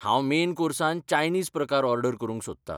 हांव मेन कोर्सान चायनीज प्रकार ऑर्डर करूंक सोदता.